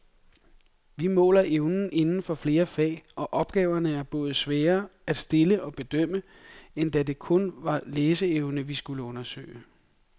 Vi måler evner inden for flere fag, og opgaverne er både sværere at stille og bedømme, end da det kun var læseevne, vi skulle undersøge.